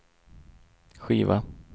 skiva